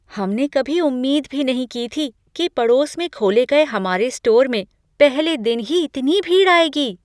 हमने कभी उम्मीद भी नहीं की थी कि पड़ोस में खोले गए हमारे स्टोर में पहले दिन ही इतनी भीड़ आएगी।